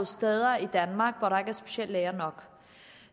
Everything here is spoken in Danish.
steder i danmark hvor der ikke er speciallæger nok